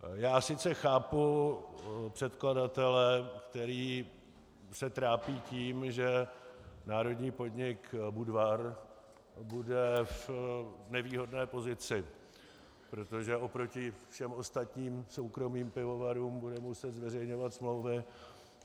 Já sice chápu předkladatele, který se trápí tím, že národní podnik Budvar bude v nevýhodné pozici, protože proti všem ostatním soukromým pivovarům bude muset zveřejňovat smlouvy.